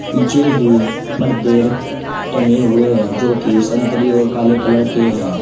पीछे ही पर्दे र टंगे हुए हैं जो कि संतरी और काले कलर के हैं।